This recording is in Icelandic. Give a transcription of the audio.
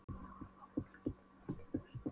Ég horfi á fólkið tínast í burtu.